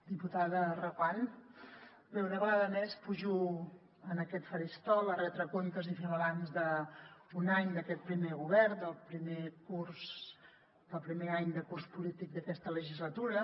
diputada reguant bé una vegada més pujo a aquest faristol a retre comptes i fer balanç d’un any d’aquest primer govern del primer curs del primer any de curs polític d’aquesta legislatura